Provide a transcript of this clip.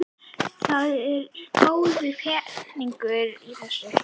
Það er góður peningur í þessu.